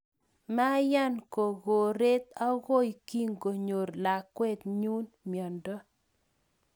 Mayan kokoret akoy kingonyor lakwet nyu mnyondo